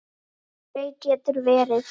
Sóley getur verið